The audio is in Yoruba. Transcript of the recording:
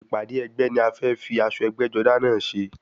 Ìpàdé ẹgbẹ́ ni a fẹ́ fi aṣọ ẹgbẹ́-jọdá náà ṣe.